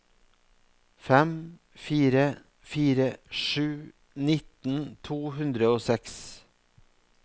fem fire fire sju nitten to hundre og seks